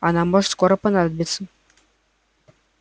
она может скоро понадобиться